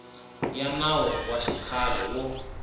ya nawu wa xikhale wo